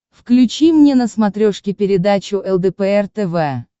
включи мне на смотрешке передачу лдпр тв